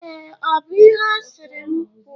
Ee, ọ bụ ihe asịrị m kwọ